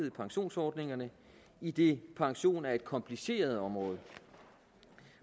i pensionsordningerne idet pension er et kompliceret område